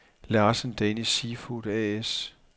Larsen Danish Seafood A/S